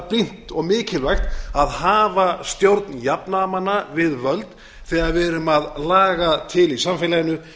brýnt og mikilvægt að hafa stjórn jafnaðarmanna við völd þegar við erum að laga til í samfélaginu